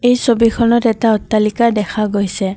এই ছবিখনত এটা অট্টালিকা দেখা গৈছে।